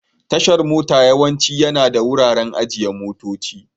Tashar mota yawanci yana da wuraren ajiye motoci.